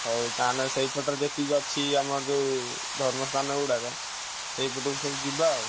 ହଉ ତାହେନେ ସେଇପାଟରେ ଯେତିକି ସବୁ ଅଛି ଆମର ସବୁ ଧର୍ମ ଷ୍ଠାନ ଗୁଡାକ ସେଇପଟାକୁ ସବୁ ଯିବା ଆଉ।